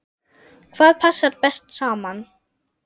Hvað passar best saman?